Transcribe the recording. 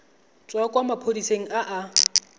tswa kwa maphodiseng a a